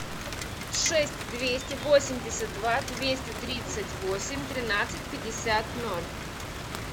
шесть двести восемьдесят два двести тридцать восемь тринадцать пятьдесят ноль